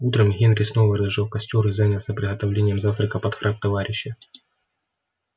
утром генри снова разжёг костёр и занялся приготовлением завтрака под храп товарища